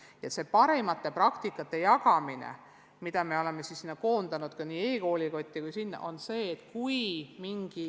Selliste parimate praktikate jagamine toimub näiteks e-koolikoti kaudu.